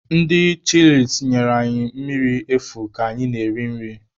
Ndị chịlịs nyere anyị mmiri efu ka anyị na-eri nri.